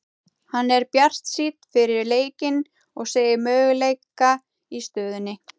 Hann er bjartsýnn fyrir leikinn og segir möguleika í stöðunni.